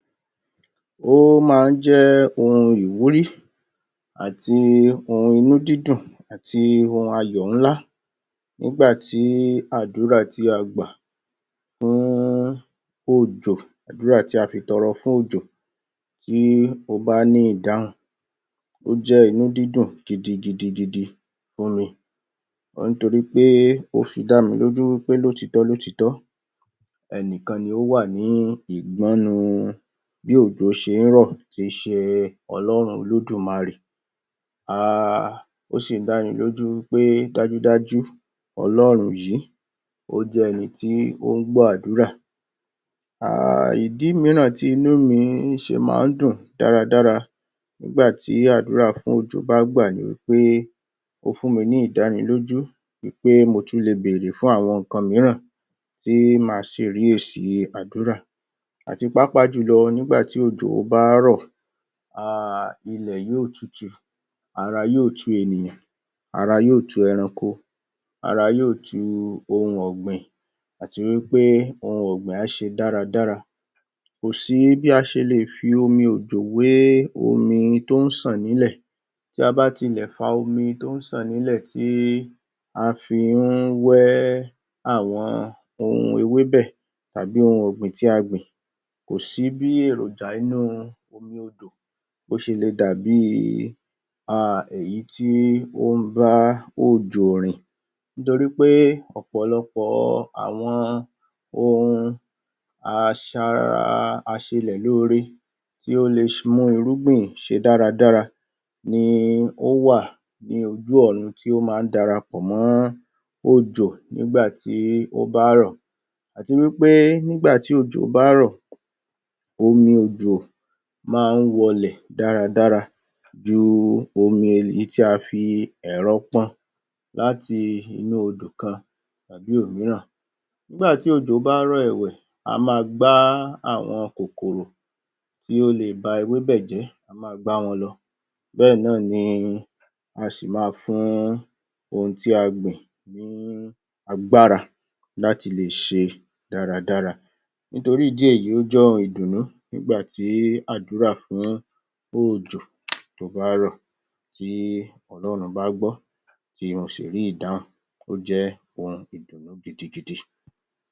Ó má ń jẹ́ ohun ìwúrí àti ohun inú dídùn àti ohun ayọ̀ ńlá nígbàtí àdúrà tí a gbà fún-ún òjò, àdúrà tí a fi tọrọ fún òjò tí ó bá ní ìdáhùn ó jẹ́ inú dídùn gidigidigidi fúnmi. Ó ní torípé ó fi dámilójú wí pé lótìítọ́ lótìítọ́ ẹnìkan ni ó wà ní ìgbọ́nu bí òjò ṣé ń rọ̀, tí í ṣe Olórun Olódùmarè um ó sì ń dánilójú wí pé dajúdajú Ọlọ́run yìí, ó jẹ́ ẹni tí ó ń gbọ́ àdúrà um ìdí mìíràn tí inú mi ṣe má ń dùn dáradára nígbà tí àdúrà fún òjò bá gbà ni wí pé ó fúnmi ní ìdánilójú wí pé mo tún lè bèèrè fún àwọn nǹkan mìíràn tí màá sì rí èsì àdúrà. Àti pàápàá jùlọ nígbà tí òjò bá rọ̀, um ilẹ̀ yóò tutù ara yóò tu ènìyàn, ara yóò tu ẹranko, ara yóò tu ohun ọ̀gbìn, àti wí pé ohun ọ̀gbìn á ṣe dáradára Kò sí bí a ṣe lè fi omi òjò wé omi tó ń ṣàn nílẹ̀ tí a bá tilẹ̀ fa omi tó ń ṣàn nílẹ̀ tí a fi ń wẹ́ àwọn ohun ewébẹ̀ tàbí ohun ọ̀gbìn tí a gbìn, kò sí bí èròjà inú omi-òdò bó ṣe lè dabìí um èyí tí ó ń bá òjò rìn nítorí pé ọ̀pọ̀lọpọ̀ àwọn ohun aṣa-ra, aṣelẹ̀ lóore tí ó lè mú irúgbìn ṣe dáradára ni ó wà ní ojú ọ̀run tí ó má ń darapọ̀ mọ́ òjò nígbà tí ó bá rọ̀, Àti wí pé, nígbà tí òjò bá rọ̀ omi òjò máa ń wọlẹ̀ dáradára ju omi èyí tí a fi ẹ̀rọ pọn láti inú odò kan tàbí òmíràn. Nígbà tí ojò bá rọ̀ ẹ̀wẹ̀, á ma gbá àwọn kòkòrò tí ó lè ba ewébẹ̀ jẹ́, á ma gbá wọn lọ Bẹ́ẹ̀ náà ni a ṣì ma fún ohun tí a gbìn ní agbára láti le ṣe dáradára. Nítorí ìdí èyí, ó jẹ́ ohun ìdùnnú nígbà tí àdúrà fún òjò tó bá rọ̀ tí Olórun bá gbọ́ tí mo sì rí ìdáhùn ó jẹ́ ohun ìdùnnú gidigidi.